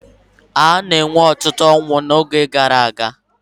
A na-enwe ọtụtụ ọnwụ oge agha.